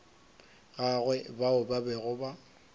gagwe bao ba bego ba